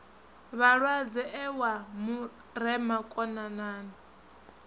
vhalwadze e wa murema konanani